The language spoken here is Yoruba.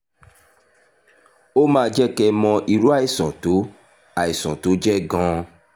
ó máa jẹ́ kẹ́ ẹ mọ irú àìsàn tó àìsàn tó jẹ́ gan-an